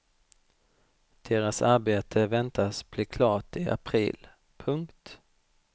Deras arbete väntas bli klart i april. punkt